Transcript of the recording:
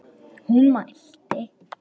Hún mælti: